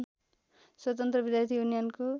स्वतन्त्र विद्यार्थी युनियनको